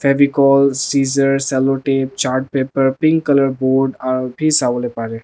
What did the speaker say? favicol seaser salotap chartpaper pink colour board aru bhi sabole pare.